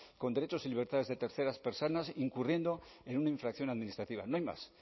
con derechos y libertades de terceras personas incurriendo en una infracción administrativa no hay más